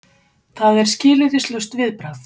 Það er skilyrðislaust viðbragð.